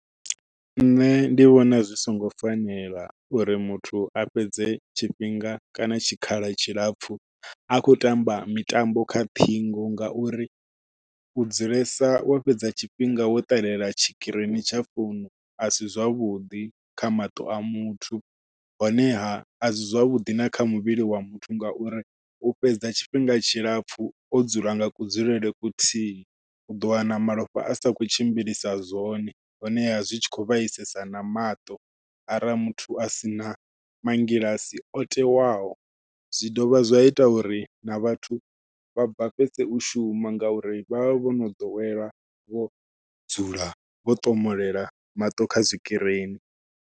Nṋe ndi vhona zwi songo fanela uri muthu a fhedze tshifhinga kana tshikhala tshilapfhu a khou tamba mitambo kha ṱhingo ngauri u dzulesa wo fhedza tshifhinga wo ṱalela tshikirini tsha founu a si zwavhuḓi kha maṱo a muthu. Honeha a si zwavhuḓi na kha muvhili wa muthu ngauri u fhedza tshifhinga tshilapfhu o dzula nga kudzulele kuthihi uḓo wana malofha a sa khou tshimbilisa zwone honeha zwi tshi khou vhaisesa na maṱo arali a sina mangilasi o tewaho. Zwi dovha zwa ita uri na vhathu vha bvafhese u shuma ngauri vha vha vho no ḓowela vho dzula vho ṱomolela maṱo kha tshikirini.